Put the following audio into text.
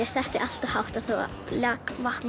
setti allt og hátt það lak vatn